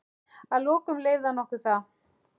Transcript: Að lokum leyfði hann okkur það.